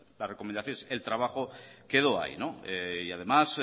las recomendaciones el trabajo quedó ahí y además